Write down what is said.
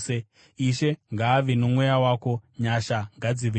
Ishe ngaave nomweya wako. Nyasha ngadzive newe.